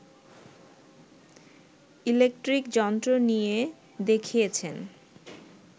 electric যন্ত্র নিয়ে দেখিয়েছেন